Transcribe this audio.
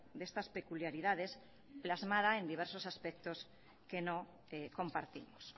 de estas peculiaridades plasmada en diversos aspectos que no compartimos